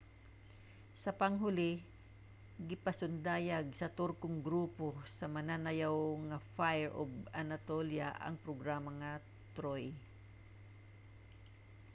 sa panghuli gipasundayag sa turkong grupo sa mananayaw nga fire of anatolia ang programa nga ''troy''